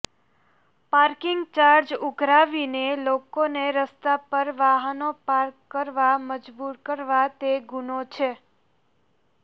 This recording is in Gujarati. પાર્કિંગ ચાર્જ ઉઘરાવીને લોકોને રસ્તા પર વાહનો પાર્ક કરવા મજબુર કરવા તે ગુનો છે